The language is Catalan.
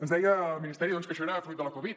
ens deia el ministeri doncs que això era fruit de la covid